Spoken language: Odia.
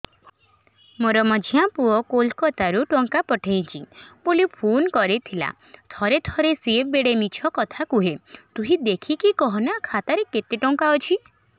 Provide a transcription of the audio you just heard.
ମୋର ମଝିଆ ପୁଅ କୋଲକତା ରୁ ଟଙ୍କା ପଠେଇଚି ବୁଲି ଫୁନ କରିଥିଲା ଥରେ ଥରେ ସିଏ ବେଡେ ମିଛ କଥା କୁହେ ତୁଇ ଦେଖିକି କହନା ଖାତାରେ କେତ ଟଙ୍କା ଅଛି